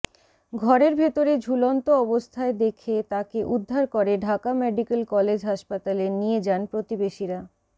ঘরের ভেতরে ঝুলন্ত অবস্থায় দেখে তাকে উদ্ধার করে ঢাকা মেডিকেল কলেজ হাসপাতালে নিয়ে যান প্রতিবেশীরা